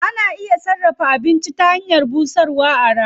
Ana iya sarrafa abinci ta hanyar busarwa a rana.